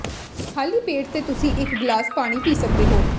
ਖਾਲੀ ਪੇਟ ਤੇ ਤੁਸੀਂ ਇਕ ਗਲਾਸ ਪਾਣੀ ਪੀ ਸਕਦੇ ਹੋ